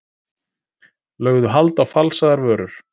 Lögðu hald á falsaðar vörur